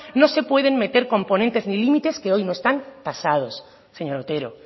no se pueden meter componentes ni límites que hoy no están tasados señor otero